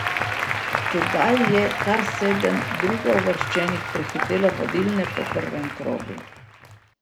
Tedaj je kar sedem drugouvrščenih prehitelo vodilne po prvem krogu.